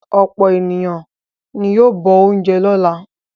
Ọ̀pọ̀ ènìyàn ni yóò bọ oúnjẹ lọ́la.